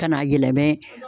Ka n'a yɛlɛmɛ